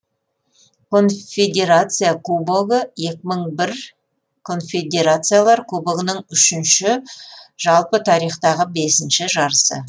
конфедерация кубогы екі мың бір конфедерациялар кубогының үшінші жалпы тарихтағы бесінші жарысы